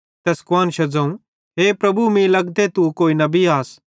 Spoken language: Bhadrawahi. तैस कुआन्शा ज़ोवं हे प्रभु मीं लग्गते तू कोई नबी आस